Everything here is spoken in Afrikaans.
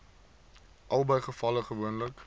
albei gevalle gewoonlik